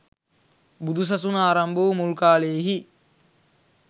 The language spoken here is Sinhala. බුදුසසුන ආරම්භ වූ මුල් කාලයෙහි